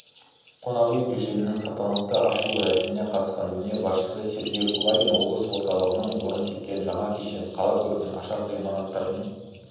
қонақ үй кешенінің салтанатты ашылу рәсіміне қатысқан өңір басшысы сергей кулагин облыс орталығынан орын тепкен жаңа кешен қала көркін ашар ғимараттардың